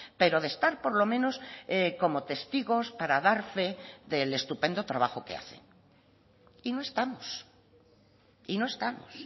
pero de estar por lo menos como testigos para dar fe del estupendo trabajo que hacen y no estamos y no estamos